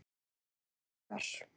Elsku Óskar.